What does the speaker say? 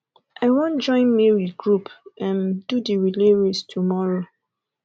i wan join mary group um do the relay race tomorrow